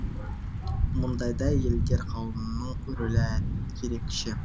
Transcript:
мұндайда әйелдер қауымының рөлі ерекше